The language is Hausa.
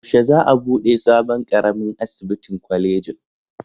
Yaushe za a buɗe sabon ƙaramin asibitin kwalejin?